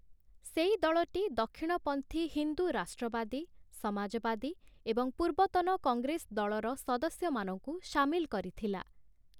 ସେଇ ଦଳଟି ଦକ୍ଷିଣପନ୍ଥୀ ହିନ୍ଦୁ ରାଷ୍ଟ୍ରବାଦୀ, ସମାଜବାଦୀ ଏବଂ ପୂର୍ବତନ କଂଗ୍ରେସ ଦଳର ସଦସ୍ୟମାନଙ୍କୁ ସାମିଲ କରିଥିଲା ।